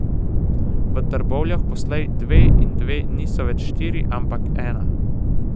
V Trbovljah poslej dve in dve niso več štiri, ampak ena.